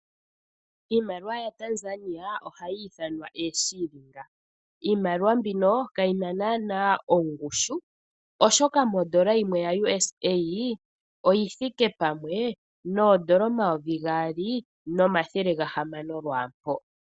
Iimaliwa yaTanzania ohayi ithanwa ooShilingi. Iimaliwa mbino kayina naanaa ongushu oshoka mondola yimwe ya USD oyi thike pamwe noondola omayovi gaali nomathele gahamano lwaampo.